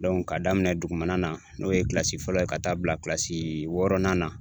ka daminɛ dugumana na n'o ye fɔlɔ ye ka taa bila kilasii wɔɔrɔnan na